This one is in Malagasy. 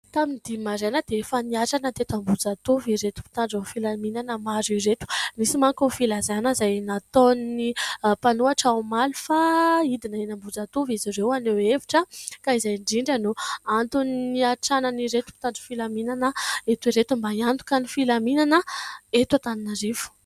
Tamin'ny dimy maraina dia efa niatrana tety Ambohijatovo ireto mpitandro filaminana maro ireto nisy manko ho filazana izay nataon'ny mpanohatra omaly fa hidina eny Ambohijatovo izy ireo haneho hevitra ka izay indrindra no antony iantranan' ireto mpitandro filaminana eto ireto mba hiantoka ny filaminana eto Antananarivo.